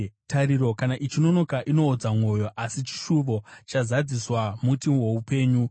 Tariro kana ichinonoka inoodza mwoyo, asi chishuvo chazadziswa muti woupenyu.